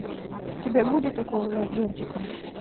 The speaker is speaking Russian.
у тебя будет укол зонтиком